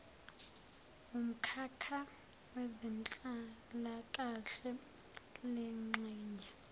wumkhakha wezenhlalakahle lengxenye